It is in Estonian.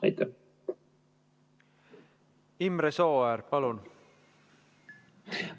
Imre Sooäär, palun!